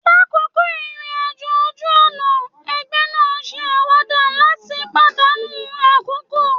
Lakoko irin-ajo oju-ọna, ẹgbẹ naa n se awada lat padanu akoko